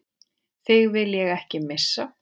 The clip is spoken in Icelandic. Þig vil ég ekki missa.